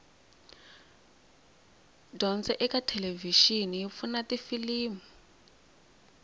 dyondzo ekathelevishini yipfuna tifilimu